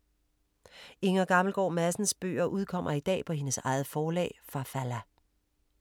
Inger Gammelgaard Madsens bøger udkommer i dag på hendes eget forlag Farfalla.